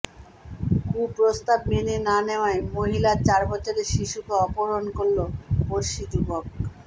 কু প্রস্তাব মেনে না নেওয়ায় মহিলার চার বছরের শিশুকে অপহরণ করল পড়শি যুবক